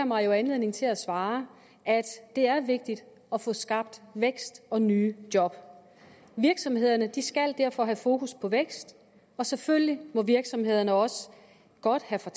mig jo anledning til at svare at det er vigtigt at få skabt vækst og nye job virksomhederne skal derfor have fokus på vækst og selvfølgelig må virksomhederne også godt have for